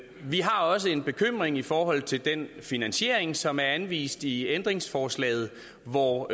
vi har også en bekymring i forhold til den finansiering som er anvist i ændringsforslaget hvor